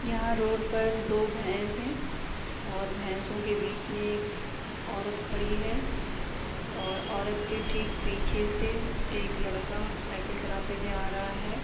यहाँ रोड पर दो भैस है और भैसो के बीच में एक औरत खड़ी है और औरत के ठीक पीछे से एक लड़का साइकिल चलाते हुए आ रहा है।